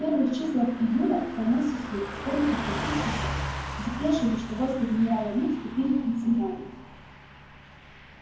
в первых числах июля пронёсся слух вскоре подтвердившийся депешами что войска генерала ли вступили в пенсильванию